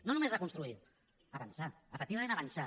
no només reconstruir avançar efectivament avançar